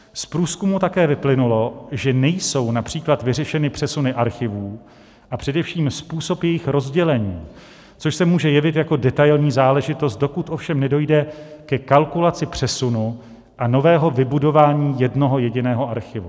Z průzkumů také vyplynulo, že nejsou například vyřešeny přesuny archivů, a především způsob jejich rozdělení, což se může jevit jako detailní záležitost, dokud ovšem nedojde ke kalkulaci přesunu a nového vybudování jednoho jediného archivu.